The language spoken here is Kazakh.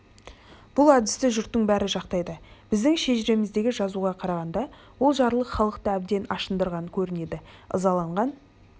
бұл әдісті жұрттың бәрі жақтайды біздің шежіреміздегі жазуға қарағанда ол жарлық халықты әбден ашындырған көрінеді ызаланған